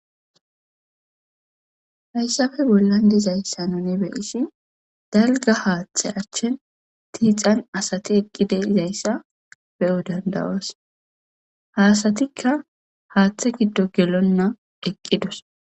hayssappe bollan dizayssa nuni be isshi dalga haaththe achchen tiixan asati eqqide izayssa be7u dandawas haasatikka haaththe giddo gelonna eqqidos